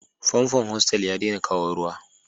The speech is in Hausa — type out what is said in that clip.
Famfon hostel ya ɗaina kawo Ruwa.